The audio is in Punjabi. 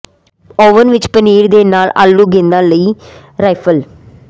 ਓਵਨ ਵਿੱਚ ਪਨੀਰ ਦੇ ਨਾਲ ਆਲੂ ਗੇਂਦਾਂ ਲਈ ਰਾਈਫਲ